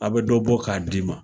A bɛ dɔ bɔ k'a d'i ma